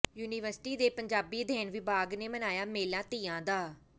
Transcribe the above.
university ਦੇ ਪੰਜਾਬੀ ਅਧਿਐਨ ਵਿਭਾਗ ਨੇ ਮਨਾਇਆ ਮੇਲਾ ਤੀਆਂ ਦਾ